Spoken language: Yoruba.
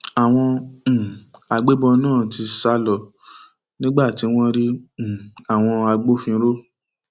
àwọn um agbébọn náà ti sá lọ nígbà tí wọn rí um àwọn agbófinró